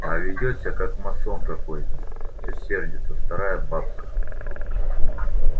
а ведёт себя как масон какой-то всё сердится вторая бабка